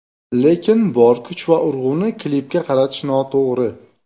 Lekin bor kuch va urg‘uni klipga qaratish noto‘g‘ri.